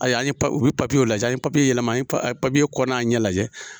Ayi u be lajɛ an ye yɛlɛma u bi kɔ na ɲɛ lajɛ.